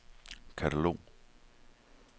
katalog